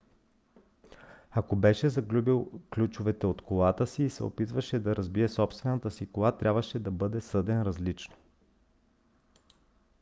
ако беше загубил ключовете от колата си и се опитваше да разбие собствената си кола трябваше да бъде съден различно